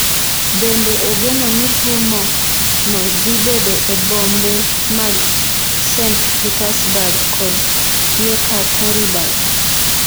Bende ogeno ni thumo no dhi bedo e bombe mag St Petersburg kod Yekaterinburg.